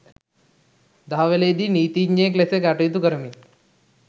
දහවලේදී නීතීඥයෙක් ලෙස කටයුතු කරමින්